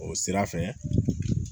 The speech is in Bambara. O sira fɛ